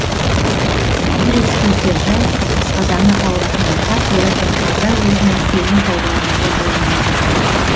бір ескертер жай асқазаны ауыратындарға пияздың таза өзінің сөлін пайдалануға болмайды